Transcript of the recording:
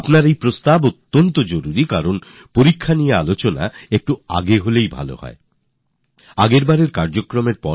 আপনার কথা ঠিক এই কর্মসুচিটি একটু আগেই আয়োজনের প্রয়োজন রয়েছে